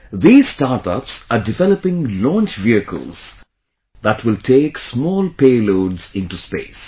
These startups are developing launch vehicles that will take small payloads into space